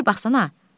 Bir baxsana.